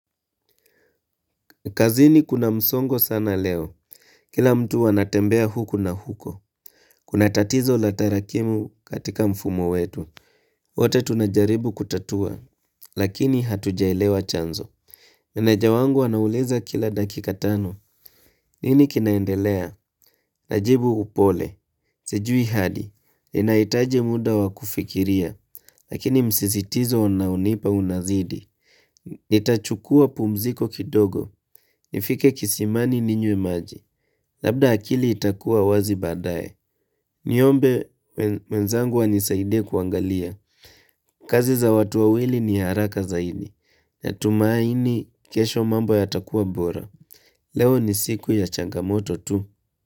Nkazini kuna msongo sana leo. Kila mtu wanatembea huku na huko. Kuna tatizo latarakimu katika mfumo wetu. Wate tunajaribu kutatua, lakini hatujaelewa chanzo. Meneja wangu anauliza kila dakikatano. Nini kinaendelea? Najibu upole. Sejui hadi. Inaitaje muda wakufikiria, lakini msisitizo unaunipa unazidi. Itachukua pumziko kidogo nifike kisimani ninywe maji Labda akili itakuwa wazi badaye Niombe wenzangu wa nisaide kuangalia kazi za watuwawili ni haraka zaidi Natumaaini kesho mambo ya takua bora Leo ni siku ya changamoto tu.